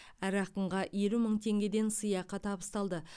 әр ақынға елу мың теңгеден сыйақы табысталды